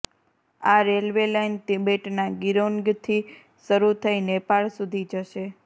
આ railway line તિબેટના ગિરોન્ગથી શરૂ થઈ નેપાળ સુધી જશે